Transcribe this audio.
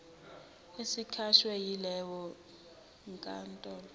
esikhishwe yileyo nkantolo